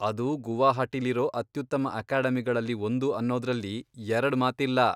ಅದು ಗುವಾಹಟಿಲಿರೋ ಅತ್ಯುತ್ತಮ ಅಕಾಡೆಮಿಗಳಲ್ಲಿ ಒಂದು ಅನ್ನೋದ್ರಲ್ಲಿ ಎರಡ್ ಮಾತಿಲ್ಲ.